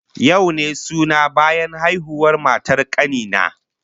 Yau ne suna bayan haihuwar matar kani na